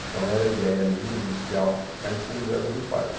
Então, era a ideia minha inicial ficar em São José do Rio Pardo.